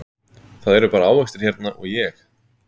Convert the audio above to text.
Það eru bara ávextir hérna og ég